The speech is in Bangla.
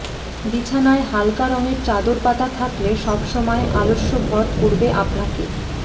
বিছানায় হালকা রঙের চাদর পাতা থাকলে সবসময় আলস্য ভর করবে আপনাকে